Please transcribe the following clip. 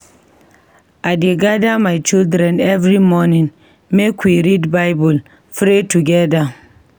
I dey gada my children every morning make we read Bible pray togeda.